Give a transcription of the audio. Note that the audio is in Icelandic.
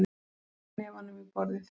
Ber hnefanum í borðið.